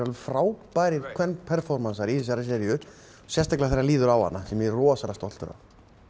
frábærir í þessari seríu sérstaklega þegar líður á hana sem ég er rosalega stoltur af